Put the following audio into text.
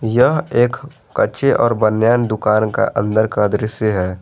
यह एक कच्छे और बनियान दुकान का अंदर का दृश्य है।